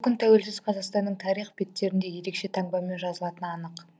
бұл күн тәуелсіз қазақстанның тарих беттерінде ерекше таңбамен жазылатыны анық